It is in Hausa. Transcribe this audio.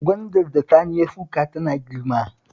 Gwandar da Sani ya shuka tana girma